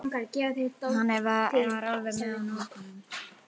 Hann var alveg með á nótunum.